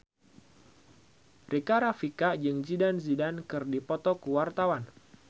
Rika Rafika jeung Zidane Zidane keur dipoto ku wartawan